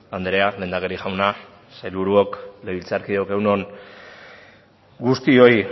andrea lehendakari jauna sailburuok legebiltzarkideok egun on guztioi